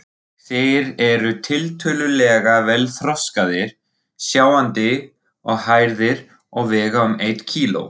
Þeir eru tiltölulega vel þroskaðir, sjáandi og hærðir og vega um eitt kíló.